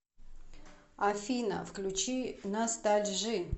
афина включи настальжи